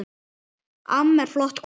Amma var flott kona.